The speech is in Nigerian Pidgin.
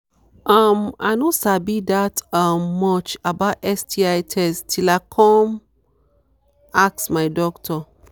um i no sabi that um much about sti test till i till i come ask my doctor